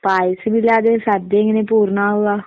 പായസമില്ലാതെ സദ്യയെങ്ങനെ പൂർണ്ണാവുക?